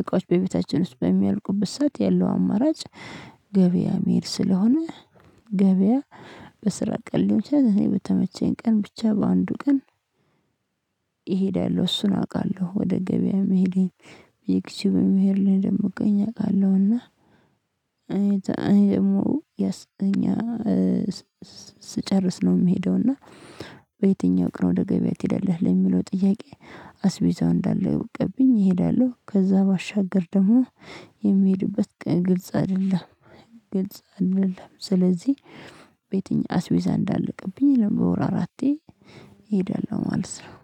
እቃዎች በቤታችን ውስጥ በሚያልቁበት ሰዓት ያለው አማራጭ። ገበያ መሄድ ስለሆነ ገበያ በስራ ቀን ሊሆን ይችላል እኔ በተመቸኝ ቀን ብቻ በአንዱ ቀን። እሄዳለሁ እሱን አውቃለሁ ወደ ገበያ መሄዴን በዩክቲዩብ መሄድ ላይ የምትቀኝ እቃለሁ። እና እኔ ደግሞ ያስ እኛ ስጨርስ ነው የምሄደው። እና በየትኛው ቀን ወደ ገበያ ትሄዳለህ? ለሚለው ጥያቄ አስቢዛው እንዳለ እወቅብኝ እሄዳለሁ። ከዛ ባሻገር ደግሞ የምሄድበት ግልጽ አይደለም። ግልጽ አይደለም ስለዚህ ቤት አስቤዛ እንዳለቅብኝ በወር አራቴ እሄዳለሁ ማለት ነው።